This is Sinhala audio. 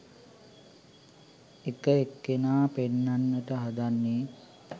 එක එක්කෙනා පෙන්නන්නට හදන්නේ